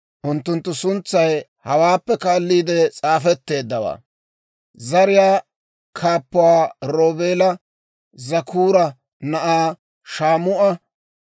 Unttunttu suntsay hawaappe kaalliide s'aafetteeddawaa: Zariyaa Kaappuwaa Roobeela Zakkuura na'aa Shaamu'a;